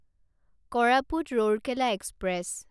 Koraput Rourkela express